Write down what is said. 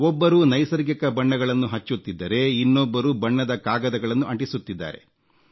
ಒಬ್ಬರು ನೈಸರ್ಗಿಕ ಬಣ್ಣಗಳನ್ನು ಹಚ್ಚುತ್ತಿದ್ದರೆ ಇನ್ನೊಬ್ಬರು ಬಣ್ಣದ ಕಾಗದಗಳನ್ನು ಅಂಟಿಸುತ್ತಿದ್ದಾರೆ